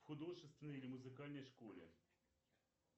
в художественной или музыкальной школе